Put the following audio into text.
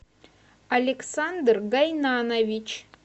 александр гайнанович